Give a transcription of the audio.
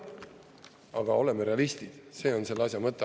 Aga oleme realistid, see on selle asja mõte.